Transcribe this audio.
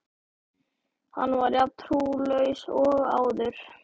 Hann var jafn trúlaus og áður.